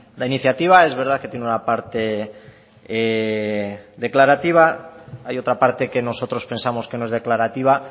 la iniciativa es verdad que tiene una parte declarativa hay otra parte que nosotros pensamos que no es declarativa